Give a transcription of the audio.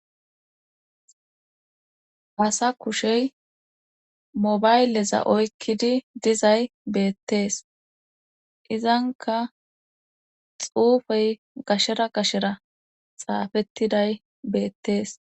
Asa kushey mobayleza oykkidi dizay beettees izanka xuufey gashera gashera xaafettiday beettees.